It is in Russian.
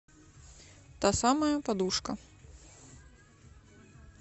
та самая подушка